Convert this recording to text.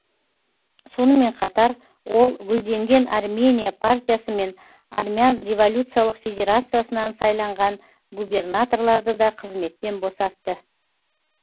сонымен қатар ол гүлденген армения партиясы мен армян революциялық федерациясынан сайланған губернаторларды да қызметтен босатты